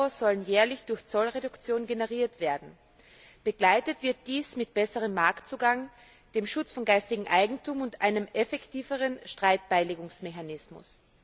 Euro sollen jährlich durch Zollreduktion generiert werden. Begleitet wird dies von besserem Marktzugang, dem Schutz von geistigem Eigentum und einem effektiveren Streitbeilegungsmechanismus.